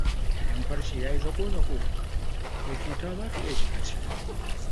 Idan farce ya yi zaƙo-zaƙo, to cuta za ta iya shiga ciki.